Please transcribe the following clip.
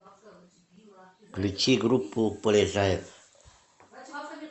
включи группу полежаев